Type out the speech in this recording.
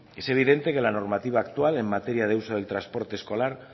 es evidente que la normativa actual en materia del uso del transporte escolar